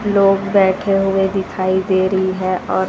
लोग बैठे हुए दिखाई दे रही है और--